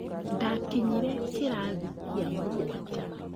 Ndakinyire kĩrathi gĩa mũgwanja